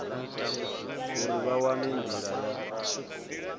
uri vha wane ndila ya